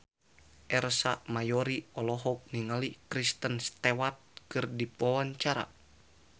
Ersa Mayori olohok ningali Kristen Stewart keur diwawancara